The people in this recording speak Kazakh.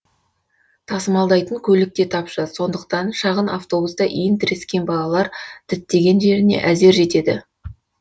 тасымалдайтын көлік те тапшы сондықтан шағын автобуста иін тірескен балалар діттеген жеріне әзер жетеді